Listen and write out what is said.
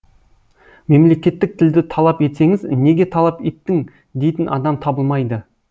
мемлекеттік тілді талап етсеңіз неге талап еттің дейтін адам табылмайды